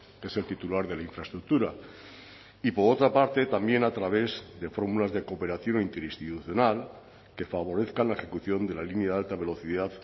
que es el titular de la infraestructura y por otra parte también a través de fórmulas de cooperación interinstitucional que favorezcan la ejecución de la línea de alta velocidad